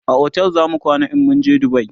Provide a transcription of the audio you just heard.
a otel zamu kwana in mun je dubai